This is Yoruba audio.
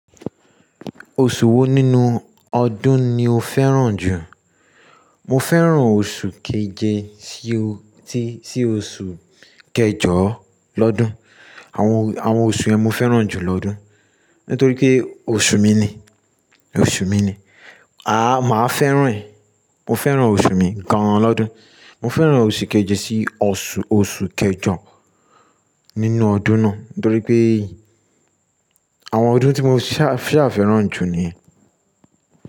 Oṣù wo nínú ọdún ni o fẹ́ràn jù? Mo fẹ́ràn oṣù keje sí o tí sí oṣù kẹjọ lọ́dún. Àwọn, àwọn oṣù yẹn mo fẹ́ràn jù lọ́dún. Nítorí pé oṣù mi ni, oṣù mi ni. Màá fẹ́ràn ẹ̀. Mo fẹ́ràn oṣù mi gan-an lọ́dún. Mo fẹ́ràn oṣù keje sí oṣù, oṣù kẹjọ nínú ọdún náà. Nítorí pé àwọn ọdún tí mo ṣà fẹ́ràn jù níyen.